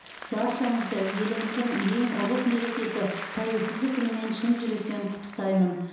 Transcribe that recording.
баршаңызды еліміздің ең ұлық мерекесі тәуелсіздік күнімен шын жүректен құттықтаймын